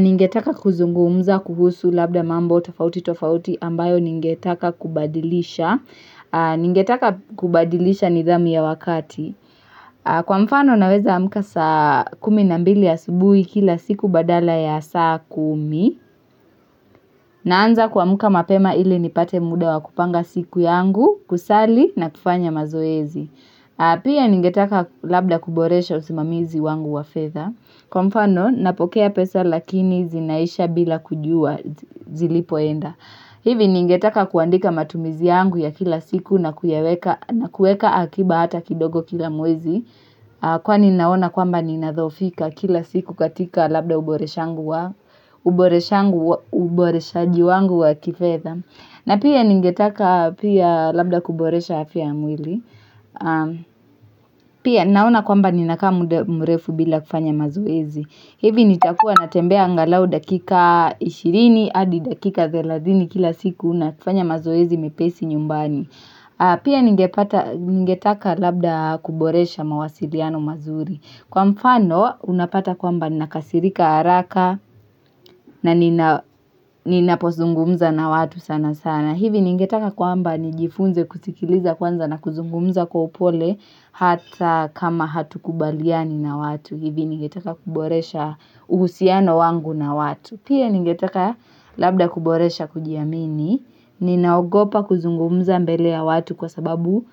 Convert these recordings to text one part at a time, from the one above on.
Ningetaka kuzungumza kuhusu labda mambo tafauti tofauti ambayo ningetaka kubadilisha. Ningetaka kubadilisha nidhamu ya wakati. Kwa mfano naweza amuka saa kumi na mbili ya asubuhi kila siku badala ya saa kumi. Naanza kwamka mapema ili nipate muda wa kupanga siku yangu kusali na kufanya mazoezi. Pia ningetaka labda kuboresha usimamizi wangu wa fedha. Kwa mfano napokea pesa lakini zinaisha bila kujua zilipoenda hivi ningetaka kuandika matumizi yangu ya kila siku na kueka akiba hata kidogo kila mwezi Kwani ninaona kwamba ninathofika kila siku katika labda uboreshaji wangu wa kifedha na pia ningetaka pia labda kuboresha afia ya mwili Pia naona kwamba ninakaa muda mrefu bila kufanya mazoezi hivi nitakua natembea angalau dakika 20 adi dakika 30 kila siku na kufanya mazoezi mepesi nyumbani Pia ningetaka labda kuboresha mawasiliano mazuri Kwa mfano unapata kwamba nakasirika haraka na ninapozungumza na watu sana sana hivi ningetaka kwamba nijifunze kusikiliza kwanza na kuzungumza kwa upole Hata kama hatukubaliani na watu hivi ningetaka kuboresha uhusiano wangu na watu Pia ningetaka labda kuboresha kujiamini Ninaogopa kuzungumza mbele ya watu kwa sababu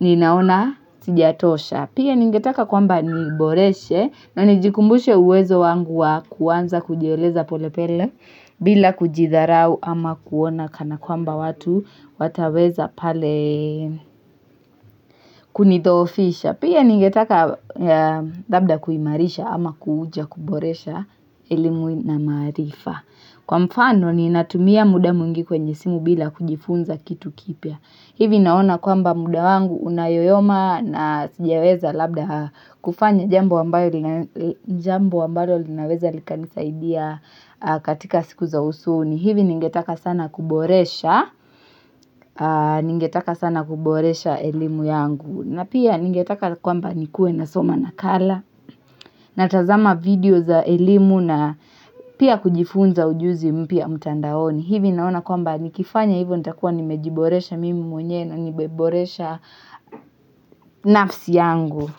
ninaona sijatosha Pia ningetaka kwamba niboreshe na nijikumbushe uwezo wangu wa kuwanza kujieleza polepele bila kujitharau ama kuona kana kwamba watu wataweza pale kunithofisha Pia ningetaka labda kuimarisha ama kuuja kuboresha elimu na marifa Kwa mfano ninatumia muda muingi kwenye simu bila kujifunza kitu kipia hivi naona kwamba muda wangu unayoyoma na sijeweza labda kufanya jambo wambayo linaweza likanisaidia katika siku za usoni hivi ningetaka sana kuboresha elimu yangu na pia ningetaka kwamba nikue nasoma nakala, natazama video za elimu na pia kujifunza ujuzi mpia mutandaoni. Hivi naona kwamba nikifanya hivyo nitakuwa nimejiboresha mimi mwenyewe na nimeboresha nafsi yangu.